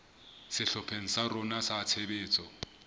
sehlopheng sa rona sa tshebetso